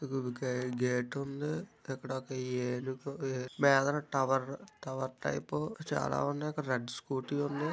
గే-- gate ఉంది. ఇక్కడొక ఏనుగు మీదన టవర్ టవర్ టైపు చాలా ఉన్నాయి. అక్కడ రెడ్ స్కూటీ ఉంది.